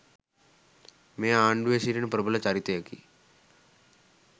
මේ ආණ්‌ඩුවේ සිටින ප්‍රබල චරිතයකි.